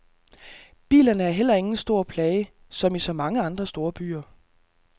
Bilerne er heller ingen stor plage, som i så mange andre storbyer.